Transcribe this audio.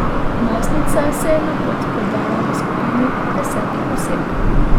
Najstnica se je na pot podala v skupini desetih oseb.